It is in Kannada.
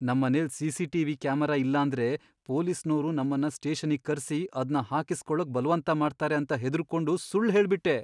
ನಮ್ಮನೆಲ್ ಸಿ.ಸಿ.ಟಿ.ವಿ. ಕ್ಯಾಮರಾ ಇಲ್ಲಾಂದ್ರೆ ಪೊಲೀಸ್ನೋರು ನಮ್ಮನ್ನ ಸ್ಟೇಷನ್ನಿಗ್ ಕರ್ಸಿ ಅದ್ನ ಹಾಕಿಸ್ಕೊಳಕ್ ಬಲ್ವಂತ ಮಾಡ್ತಾರೆ ಅಂತ ಹೆದ್ರುಕೊಂಡು ಸುಳ್ಳ್ ಹೇಳ್ಬಿಟ್ಟೆ.